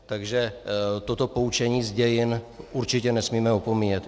Takže toto poučení z dějin určitě nesmíme opomíjet.